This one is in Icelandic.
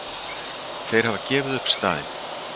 Þeir hafa gefið upp staðinn!